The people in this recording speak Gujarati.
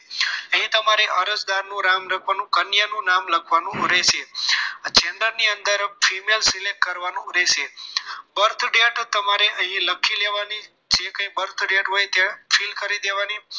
અહીં તમારે અરજદાર નું નામ લખવાનું અન્યનું નામ લખવાનું રહેશે xender ની અંદર female select કરવાનું રહેશે birth date તમારે અહીં લખી લેવાની જે કંઈ birth date હોય ત્યાં fill કરી લેવાની